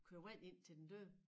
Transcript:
Køre vand ind til den døde